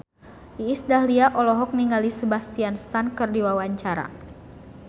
Iis Dahlia olohok ningali Sebastian Stan keur diwawancara